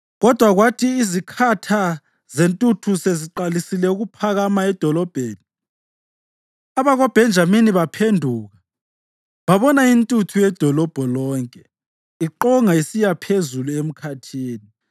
Kodwa kwathi izikhatha zentuthu seziqalise ukuphakama edolobheni, abakoBhenjamini baphenduka babona intuthu yedolobho lonke iqonga isiya phezulu emkhathini.